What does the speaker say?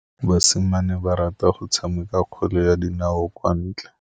Basimane ba rata go tshameka kgwele ya dinaô kwa ntle.